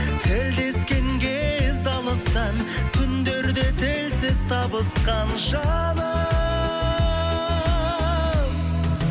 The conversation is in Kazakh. тілдескен кез алыстан түндерде тілсіз табысқан жаным